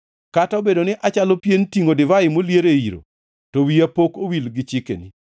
Kata obedo ni achalo pien tingʼo divai molier e iro, to wiya pok owil gi chikeni.